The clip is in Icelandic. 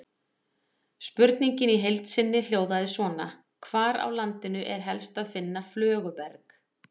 Spurningin í heild sinni hljóðaði svona: Hvar á landinu er helst að finna flöguberg?